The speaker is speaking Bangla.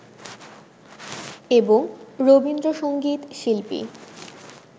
এবং রবীন্দ্রসংগীত শিল্পী